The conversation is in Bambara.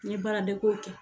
Ni baara de ko kɛ.